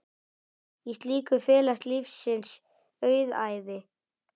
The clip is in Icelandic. Í slíku felast lífsins auðæfi.